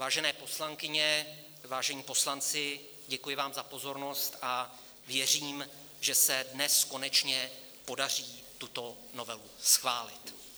Vážené poslankyně, vážení poslanci, děkuji vám za pozornost a věřím, že se dnes konečně podaří tuto novelu schválit.